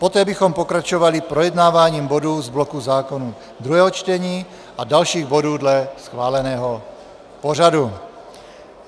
Poté bychom pokračovali projednáváním bodů z bloku zákonů druhého čtení a dalších bodů dle schváleného pořadu.